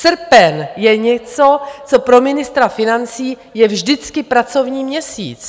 Srpen je něco, co pro ministra financí je vždycky pracovní měsíc.